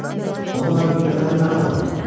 Onda mən birdəfəlik məhv olaram.